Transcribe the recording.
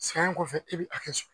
San in kɔfɛ e bɛ a kɛ so